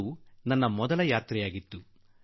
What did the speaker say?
ಇದು ನನ್ನ ಮೊದಲ ದಕ್ಷಿಣ ಆಫ್ರಿಕಾ ಪ್ರವಾಸವಾಗಿತ್ತು